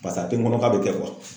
Pasa a tɛ n kɔnɔ k'a bɛ kɛ